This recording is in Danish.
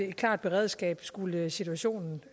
et klart beredskab skulle situationen